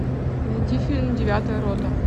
найди фильм девятая рота